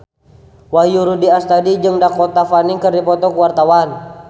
Wahyu Rudi Astadi jeung Dakota Fanning keur dipoto ku wartawan